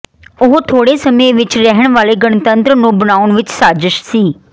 ਉਹ ਥੋੜੇ ਸਮੇਂ ਵਿਚ ਰਹਿਣ ਵਾਲੇ ਗਣਤੰਤਰ ਨੂੰ ਬਣਾਉਣ ਵਿਚ ਸਾਜ਼ਸ਼ ਸੀ